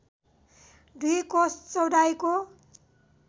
दुई कोस चौडाइको